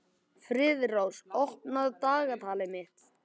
Friðrós, opnaðu dagatalið mitt.